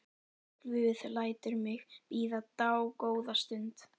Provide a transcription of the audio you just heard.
Guð lætur mig bíða dágóða stund.